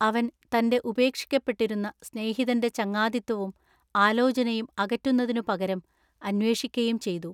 അവൻ തന്റെ ഉപേക്ഷിക്കപ്പെട്ടിരുന്ന സ്നേഹിതന്റെ ചങ്ങാതിത്വവും ആലോചനയും അകറ്റുന്നതിനു പകരം അന്വേഷിക്കയും ചെയ്തു.